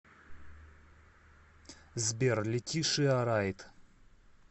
сбер летишиа райт